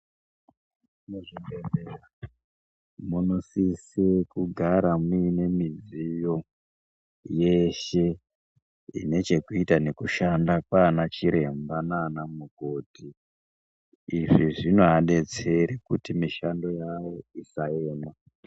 Muzvibhedhlera munosise kugara muine midziyo yeshe, ine chekuita nekushanda kwaanachiremba naanamukoti. Izvi zvinoadetsere kuti mishando yawo isaema.